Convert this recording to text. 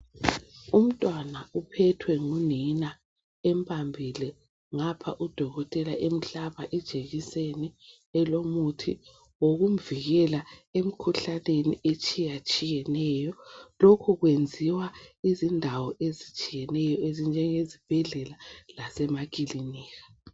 Umntwana uphethwe ngunina embambile ngapha udokotela emhlaba ijekiseni elomuthi wokumvikela emkhuhlaneni etshiya tshiyeneyo lokhu kwenziwa izindawo ezitshiyeneyo ezinjenge zibhedlela lasemakilinika.